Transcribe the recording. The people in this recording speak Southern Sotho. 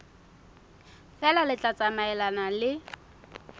feela le tla tsamaelana le